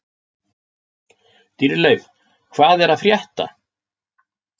Dýrleif, hvað er að frétta?